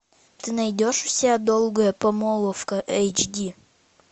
ты найдешь у себя долгая помолвка эйч ди